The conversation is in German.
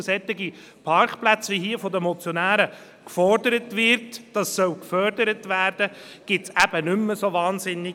Und solche Parkplätze, deren Förderung hier von den Motionären gefordert wird, gibt es eben nicht mehr so viele.